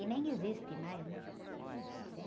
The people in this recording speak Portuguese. E nem existe mais, né?